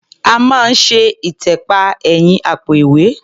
A máa ń ṣe ìtẹ̀pa ẹ̀yìn àpò-ìwẹ́.